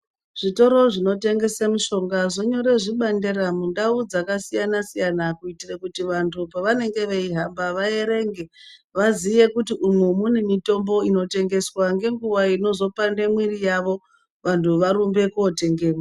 Zvitoro zvinotengese mishonga zvonyore zvibandera mundau dzakasiyana siyana kuitire kuti vantu pavanenge veihamba, vaerenge vaziye kuti umu mune mitombo inotengeswa, ngenguva inozopande mwiri yavo vantu varumbe kotengemwo.